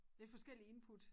Lidt forskellig input